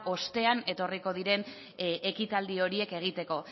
ostean etorriko diren ekitaldi horiek egiteko